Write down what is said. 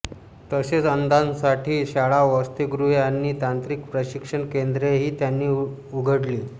तसेच अंधांसाठी शाळा वसतिगृहे आणि तांत्रिक प्रशिक्षण केंद्रेही त्यांनी उघडली